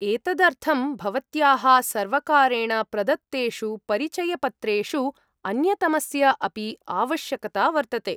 एतदर्थं भवत्याः सर्वकारेण प्रदत्तेषु परिचयपत्रेषु अन्यतमस्य अपि आवश्यकता वर्तते।